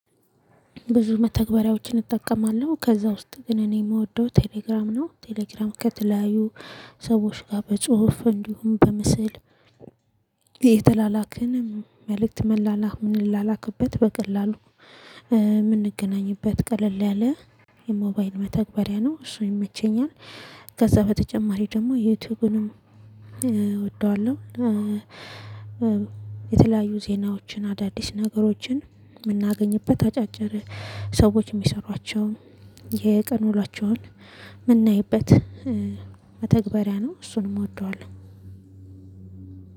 ብዙ መተግበሪያዎችን እጠቀማለሁ ከዛ ውስጥ ግን እኔ የምወደው ቴሌግራም ነው ቴሌግራም ከተለያዩ ሰዎች ጋር በጽሁፍ እንዲሁም በምስል የተላላክንም መልእክት መላላህ ምንላላክበት በቀላሉ የምንገናኝበት ቀለል ያለ የሞባይል መተግበሪያ ነው እሱ ይመቸኛል። ከዛ በተጨማሪ ደግሞ ዩቲዩብንም እወደዋለሁ። የተለያዩ ዜናዎችን አዳዲስ ነገሮችን የምናገኝበት አጫጭር ሰዎች የሚሰሯቸው የቀን ውሏቸውን ምናይበት መተግባሪያ ነው እሱንም እወደዋለሁ።